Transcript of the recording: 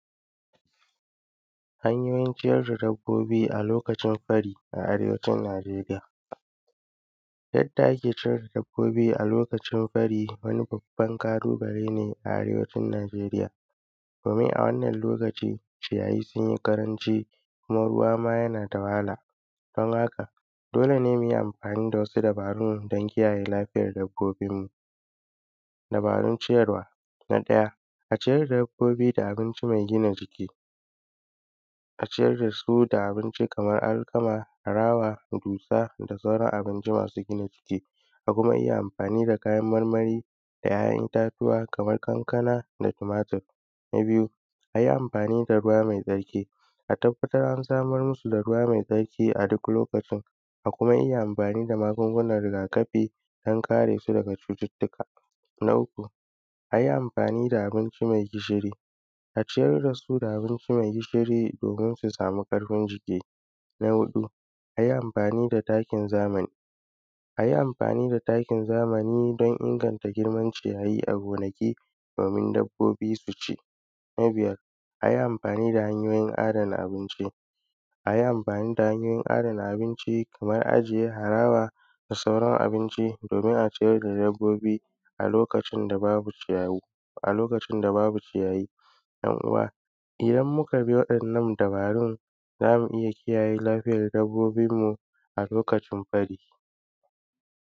hanyoyin ciyar da dabbobi a lokacin fari a arewacin najeriya, yadda ake ciyar da dabbobi a lokacin fari wani babban ƙalubale ne a arewacin najeriya domin a wannan lokacin ciyayi sun yi ƙaranci kuma ruwa ma yan da wahala dan haka dole ne muyi amfani da wasu dabarun don kiyaye lafiyar dabbobin mu, dabarun ciyarwa na ɗaya, a ciyar da dabbobi da abinci mai gina jiki, a ciyar da su da abinci kamar alkama, harawa, dusa, da sauran abinci masu gina jiki da kuma iya amfanin da kayar marmari da `ya`yan itatuwa kamar kankana da tumatur, na biyu, ayi amfani da ruwa mai tsarki a tabbatar an samar masu da ruwa mai tsarki a duk lokacin da kuma iya amfani da magungunan riga kafi don kare su daga cututtuka, na uku, ayi amfani da abinci mai gishiri a ciyar da su da abinci mai gishiri domin su sami ƙarfin jiki, na huɗu, ayi amfani da takin zamani,, ayi amfani da takin zamani don inganta girman ciyayi a gonaki domin dabbobi su ci, na biyar, ayi amfani da hanyoyin adana abinci ayi amfani da hanyoyin adana abinci kamar ajiye harawa da sauran abinci domin a ciyar da dabbobi a lokacin da babu ciyayu a lokacin da babu ciyayi, `yan uwa idan muka bi waɗannan dabarun zamu iya kiyaye lafiyar dabbobin mu a lokacin fari.